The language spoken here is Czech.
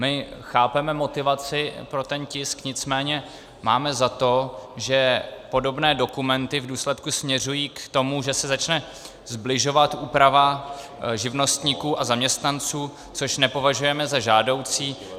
My chápeme motivaci pro ten tisk, nicméně máme za to, že podobné dokumenty v důsledku směřují k tomu, že se začne sbližovat úprava živnostníků a zaměstnanců, což nepovažujeme za žádoucí.